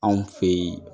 Anw fe ye